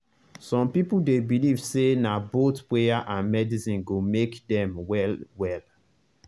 some people dey believe say na both prayer and medicine go make dem well well.